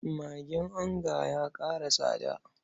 Magin onga ya ƙara tsada.